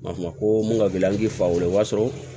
Ma ko mun ka girin an k'i fa weele o b'a sɔrɔ